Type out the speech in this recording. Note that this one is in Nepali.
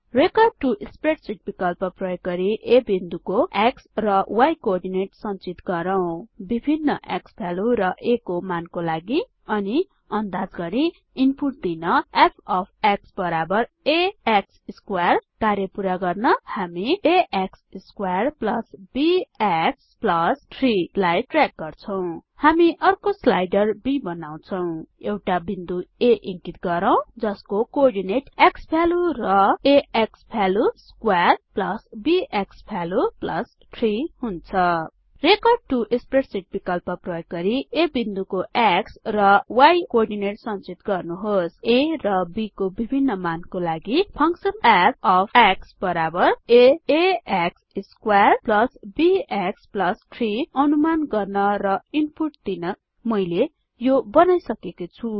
रेकर्ड टो स्प्रेडशीट विकल्प प्रयोग गरी A बिन्दुको x र y कोअर्डिनेट संचित गरौँ विभिन्न क्सवाल्यु र a को मानको लागि अनि अन्दाज गरी इन्पुट दिन f अफ x बराबर a x स्क्वेयर कार्य पुरा गर्न हामी a x स्क्वेयर बीएक्स ३ लाई ट्र्याक गर्छौं हामी अर्को स्लाइडर b बनाउछौँ एउटा बिन्दु A इंकित गरौँ जसको कोअर्डिनेट क्सवाल्यु र a x value square b x value ३ हुन्छ रेकर्ड टो स्प्रेडशीट विकल्प प्रयोग गरि A बिन्दुको x र y कोअर्डिनेट संचित गर्नुहोस a र b को विभिन्न मान को लागि फंक्शन f अफ x बराबर एक्स स्क्वेयर बीएक्स ३ अनुमान गर्न र इन्पुट दिन मैले यो बनाइसकेको छु